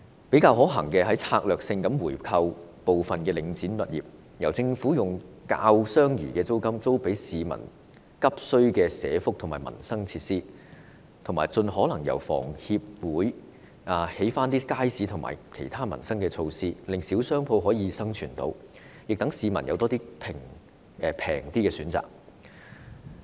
比較可行的方法是策略性地回購部分領展物業，由政府以較相宜的租金租給市民急需的社福民生設施，以及盡可能由房委會興建街市和其他民生設施，令小商戶能夠生存，亦讓市民有較相宜的選擇。